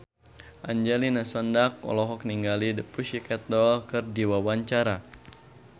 Angelina Sondakh olohok ningali The Pussycat Dolls keur diwawancara